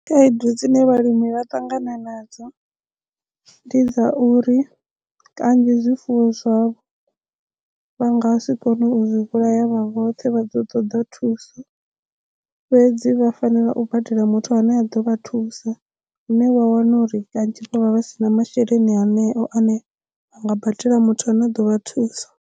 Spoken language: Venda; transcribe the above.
Khaedu dzine vhalimi vha ṱangana nadzo ndi dza uri kanzhi zwifuwo zwavho vha nga si kone u zwi vhulaya vha vhoṱhe vha ḓo ṱoḓa thuso fhedzi vha fanela u badela muthu ane a ḓo vha thusa lune wa wana uri kanzhi vha vha vha si na masheleni haneyo ane a nga badela muthu ane a ḓo vha thusa.